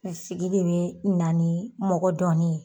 Sigi de be na nii mɔgɔ dɔnnin ye.